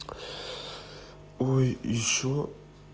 ой ещё